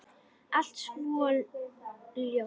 Allt svo ljótt.